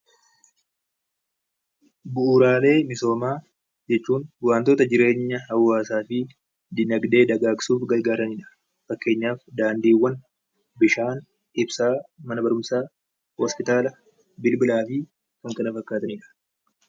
Bu'uuraalee misoomaa jechuun wantoota jireenya hawaasaatiif dinagdee dagaagsuuf fakkeenyaaf daandiiwwan, bishaan, mana barumsaa, ibsaa , hospitaala, bilbilaa fi kan kana fakkaatanidha.